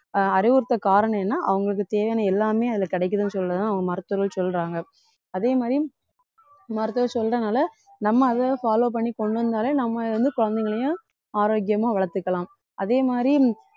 ஆஹ் அறிவுறுத்த காரணம் என்ன அவங்களுக்கு தேவையான எல்லாமே அதுல கிடைக்குதுன்னு சொல்லிதான் மருத்துவர்கள் சொல்றாங்க அதே மாதிரி மருத்துவர் சொல்றதுனால நம்ம அதை follow பண்ணி கொண்டு வந்தாலே நம்ம வந்து குழந்தைகளையும் ஆரோக்கியமா வளர்த்துக்கலாம் அதே மாதிரி